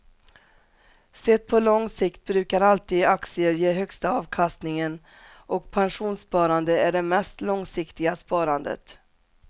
Sett på lång sikt brukar alltid aktier ge högsta avkastningen och pensionssparande är det mest långsiktiga sparandet.